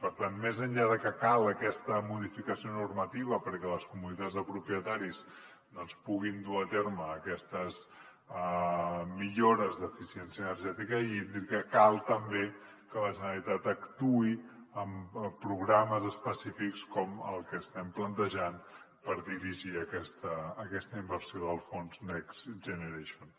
per tant més enllà de que cal aquesta modificació normativa perquè les comunitats de propietaris doncs puguin dur a terme aquestes millores d’eficiència energètica i hídrica cal també que la generalitat actuï amb programes específics com el que estem plantejant per dirigir aquesta inversió del fons next generation